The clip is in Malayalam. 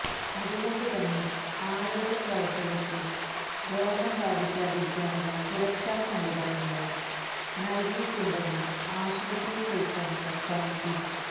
അതുകൊണ്ടുതന്നെ ആരോഗ്യ പ്രവർത്തകർക്ക് രോഗം ബാധിക്കാതിരിക്കാനുള്ള സുരക്ഷ സംവിധാനങ്ങളും നൽകിയിട്ടുണ്ടെന്നും ആശുപത്രി സൂപ്രണ്ട് വ്യക്തമാക്കി